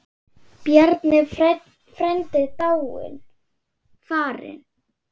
Bjarni frændi er dáinn, farinn.